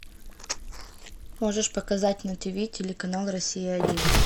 можешь показать на тиви телеканал россия один